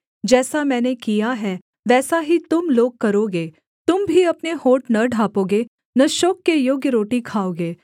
जैसा मैंने किया है वैसा ही तुम लोग करोगे तुम भी अपने होंठ न ढाँपोगे न शोक के योग्य रोटी खाओगे